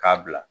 K'a bila